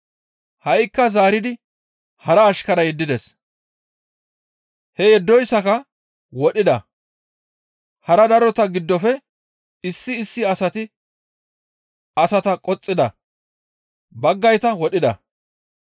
Ha7ikka zaaridi hara ashkara yeddides. He yeddoyssaka wodhida; hara darota giddofe issi issi asata qoxxida; baggayta wodhida.